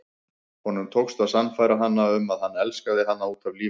Honum tókst að sannfæra hana um að hann elskaði hana út af lífinu.